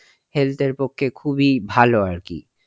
health এর পক্ষে খুবই ভালো আর কি.